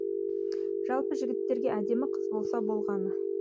жалпы жігіттерге әдемі қыз болса болғаны